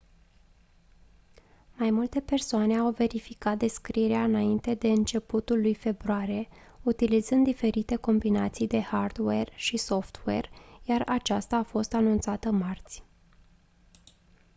mai multe persoane au verificat descoperirea înainte de începutul lui februarie utilizând diferite combinații de hardware și software iar aceasta a fost anunțată marți